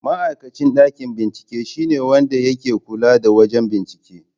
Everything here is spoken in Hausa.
Ma'aikacin ɗakin bincike shine wanda yake kula da wajen bincike.